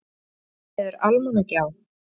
Fóruð þið niður Almannagjá?